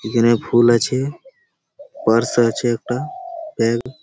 এখানে ফুল আছে পার্স আছে একটা ব্যাঙ্ক --